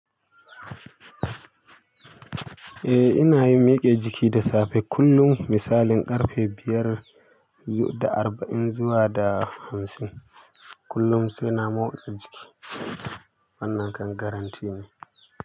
Eh ina yin miƙe jiki da safe kullum misalin ƙarfe biyar da arba'in zuwa da hamsin kullum sai na motsa jiki wannan kan garanti ne.